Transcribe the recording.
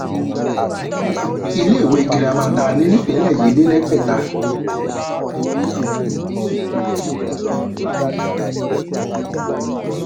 iléèwé girama tá a ní nípínlẹ yìí lè lẹgbẹta